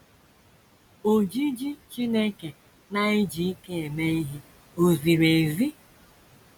Ojiji Chineke Na - eji Ike Eme Ihe Ò Ziri Ezi?